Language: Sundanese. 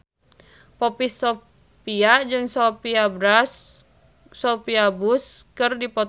Poppy Sovia jeung Sophia Bush keur dipoto ku wartawan